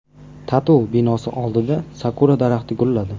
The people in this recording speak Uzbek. TATU binosi oldida sakura daraxti gulladi .